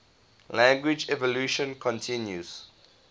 language evolution continues